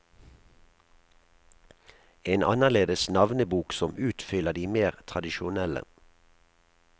En annerledes navnebok som utfyller de mer tradisjonelle.